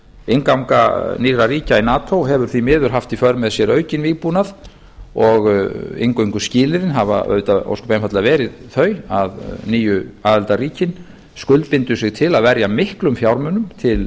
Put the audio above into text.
innganga nýrra ríkja í nato hefur því miður haft í för með sér aukinn vígbúnað og inngönguskilyrðin hafa auðvitað ósköp einfaldlega verið þau að nýju aðildarríkin skuldbindi sig til að verja miklum fjármunum til